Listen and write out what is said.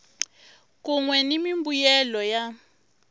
kun we ni mimbuyelo ya